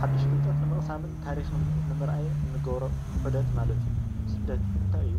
ሓዱሽ ፍልጠት ንምቅሳም ፣ ታሪኽ ንምርኣይን ንገብሮ ዑደት ማለት እዩ። ስደት እንታይ እዩ?